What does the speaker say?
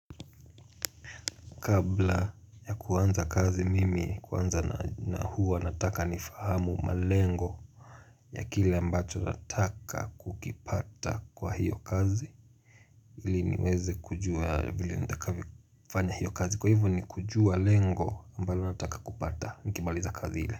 Kabla ya kuanza kazi mimi kwanza na huwa nataka nifahamu malengo ya kile ambacho nataka kukipata kwa hiyo kazi Hili niweze kujua vile nitakavyofanya hiyo kazi kwa hivyo ni kujua lengo ambalo nataka kupata Nikimaliza kazi ile.